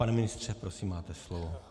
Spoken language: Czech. Pane ministře, prosím, máte slovo.